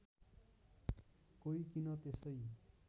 कोही किन त्यसै